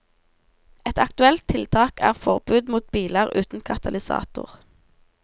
Et aktuelt tiltak er forbud mot biler uten katalysator.